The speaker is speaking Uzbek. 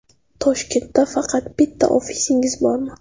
Toshkentda faqat bitta ofisingiz bormi?